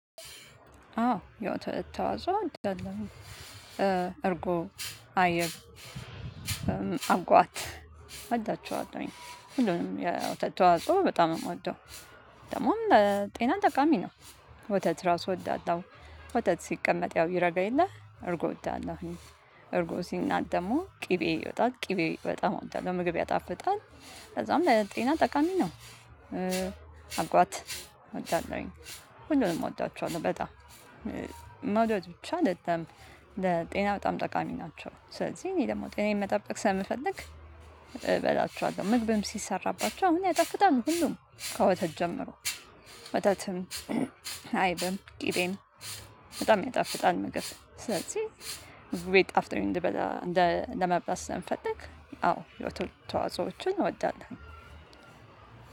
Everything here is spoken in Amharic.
አዎ የወተት ተዋጾ እርጎ አይብ አጓት እወዳቸዋለሁኝ ሁሉንም የውተት ተዋጾ በጣም ነው የምወደው። ደግሞም ለጤና ጠቃሚ ነው። ወተት ራሱ እወዳለሁ። ወተት ሲቀመጥ ያው ይረጋ የለ እርጎ እወዳለሁኝ። እርጎ ሲናጥ ደግሞ ቅቤ ይወጣል ቅቤ በጣም እወጣለሁ ምግብ ያጣፍጣል። ከዛም ለጤና ጠቃሚ ነው። አጓት እወዳለሁኝ። ሆሉንም እወዳቸዋለሁ በጣም መውደድ ብቻ አደለም። ለጤና በጣም ጠቃሚ ናቸው ስለዚህ እኔ ደግሞ ጤናዬን መጠበቅ ስለምፈልግ። እበላቸዋለሁ ምግብም ሲሰራባችው አሁን ያጣፍጣሉ ሁሉም ከወተት ጀምሮ። ወተትም አይብም ቅቤም በጣም ያጣፍጣል። ምግብ ስለዚህ ምግቤ ጣፍጦኝ እንደ በላ ለመብላት ስለምፈልግ። አዎ የወትት ተዋጾችን እወዳለሁ።